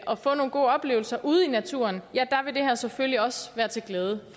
og få nogle gode oplevelser ude i naturen ja der vil det her selvfølgelig også være til glæde